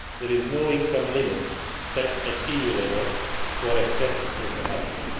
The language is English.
There is no income limit set at EU level for access to social housing.